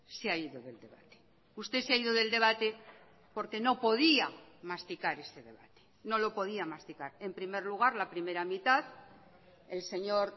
se ha ido del debate usted se ha ido del debate porque no podía masticar ese debate no lo podía masticar en primer lugar la primera mitad el señor